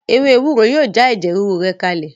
Ewé ewúro yóò já ẹ̀jẹ̀ rúru rẹ kalẹ̀